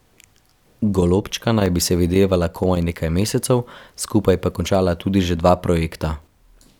Golobčka naj bi se videvala komaj nekaj mesecev, skupaj pa končala tudi že dva projekta.